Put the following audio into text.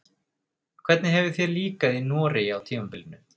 Hvernig hefur þér líkað í Noregi á tímabilinu?